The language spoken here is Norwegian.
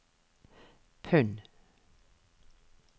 pund